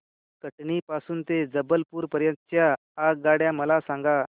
कटनी पासून ते जबलपूर पर्यंत च्या आगगाड्या मला सांगा